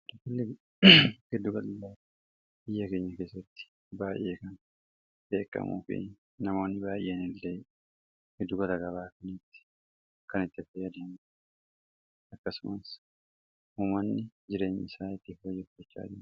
tillee gedduga iyyakeenya keessatti baay'ee kan beeqamuu fi namoonni baay'een illee geddu gataga baakniitti kan itti aftayyadaem akkasumas huumanni jireenya isaa itti hoyyoachaae